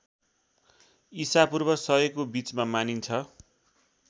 ईशापूर्व १०० को बीचमा मानिन्छ।